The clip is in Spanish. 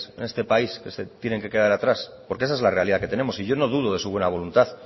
en este país que se tienen que quedar atrás porque esa es la realidad que tenemos y yo no dudo de su buena voluntad